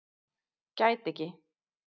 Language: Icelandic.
Gæti ekki